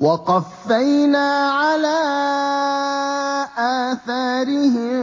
وَقَفَّيْنَا عَلَىٰ آثَارِهِم